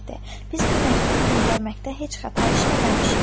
Biz bu məktubu göndərməkdə heç xəta işləməmişik.